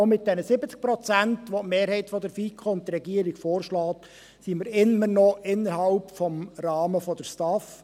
Auch mit den 70 Prozent, welche die Mehrheit der FiKo und die Regierung vorschlägt, sind wir immer noch innerhalb des Rahmens der STAF.